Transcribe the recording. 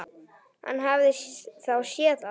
Hann hafði þá séð allt!